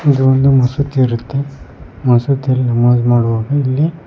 ಇದು ಒಂದು ಮಸೂತಿ ಇರುತ್ತೆ ಮಸೂತಿಯಲ್ಲಿ ನಮಾಜ್ ಮಾಡುವಾಗ ಇಲ್ಲಿ--